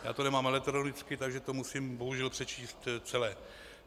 Já to nemám elektronicky, takže to musím bohužel přečíst celé.